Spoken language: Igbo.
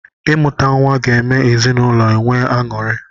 Imuta nwa ga eme ezinụlọ enwee aṅụri.